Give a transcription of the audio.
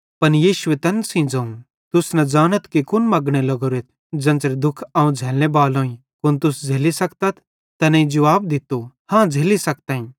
पन यीशुए तैन सेइं ज़ोवं तुस न ज़ानथ कि कुन मगने लग्गोरेथ ज़ेन्च़रे दुख अवं झ़लने बालोईं कुन तुस झ़ेल्ली सकतथ तैनेईं जुवाब दित्तो हाँ झ़ेल्ली सखतम